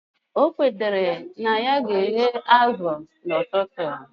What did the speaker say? O kwetara na ya ga eghe azu na ututu